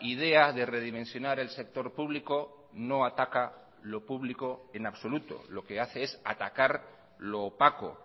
idea de redimensionar el sector público no ataca lo público en absoluto lo que hace es atacar lo opaco